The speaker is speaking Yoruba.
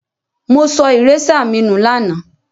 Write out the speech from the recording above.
Mo so eraser mi nu làná